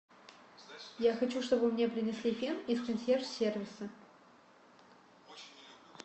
я хочу чтобы мне принесли фен из консьерж сервиса